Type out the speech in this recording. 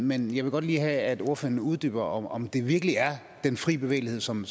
men jeg vil godt lige have at ordføreren uddyber om det virkelig er den fri bevægelighed som